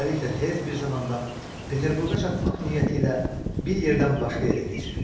Beləliklə, tez bir zamanda Peterburqa çatmaq niyyəti ilə bir yerdən başqa yerə keçir.